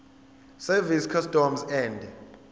service customs and